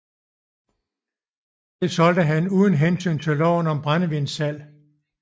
Det solgte han uden hensyn til loven om brændevinssalg